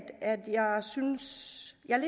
jeg